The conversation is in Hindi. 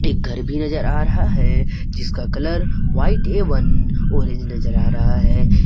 घर भी नजर आ रहा है जिसका कलर वाइट एवं ऑरेंज नजर आ रहा है।